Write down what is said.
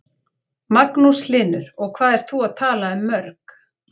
Magnús Hlynur: Og hvað ert þú að tala um mörg?